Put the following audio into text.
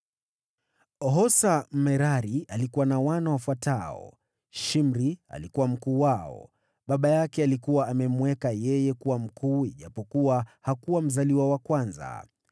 Hosa, Mmerari, alikuwa na wana wafuatao: Shimri alikuwa mkuu wao (baba yake alikuwa amemweka yeye kuwa mkuu ijapokuwa hakuwa mzaliwa wa kwanza),